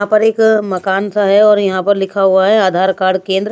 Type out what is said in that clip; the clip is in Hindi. पर एक मकान सा है और यहाँ पर लिखा हुआ है आधार कार्ड केंद्र--